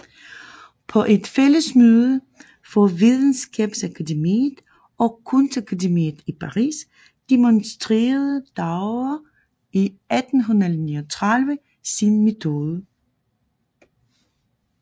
På et fællesmøde for videnskabsakademiet og kunstakademiet i Paris demonstrerede Daguerre i 1839 sin metode